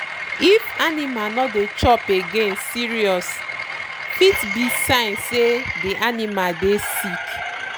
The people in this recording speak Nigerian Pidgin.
if animal no dey chop againe serious—fit be sign say dey animal dey sick.